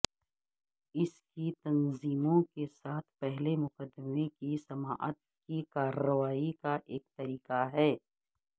اس کی تنظیموں کے ساتھ پہلے مقدمے کی سماعت کی کارروائی کا ایک طریقہ ہے